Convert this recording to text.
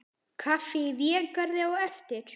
Kaffi í Végarði á eftir.